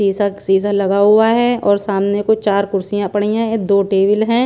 सीसा सीसा लगा हुआ है और सामने को चार कुर्सियाँ पड़ी ऐं दो टेबल है।